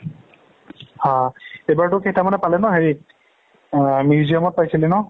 হা এইবাৰটো কেইটামানে পালে ন হেৰিত অ museum ত পাইছিলে ন